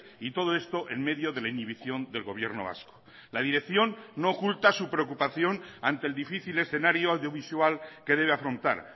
y todo esto en medio de la inhibición del gobierno vasco la dirección no oculta su preocupación ante el difícil escenario audiovisual que debe afrontar